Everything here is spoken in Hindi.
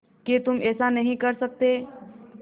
कि तुम ऐसा नहीं कर सकते